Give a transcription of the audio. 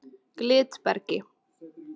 Glitbergi